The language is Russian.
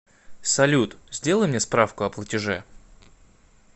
салют сделай мне справку о платеже